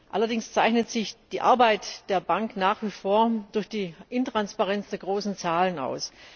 Allerdings zeichnet sich die Arbeit der Bank nach wie vor durch die Intransparenz der großen Zahlen aus.